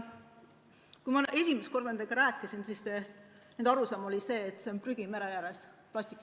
Kui ma esimest korda nendega rääkisin, siis nende arusaam oli see, et probleem on prügi mere ääres, plastik ...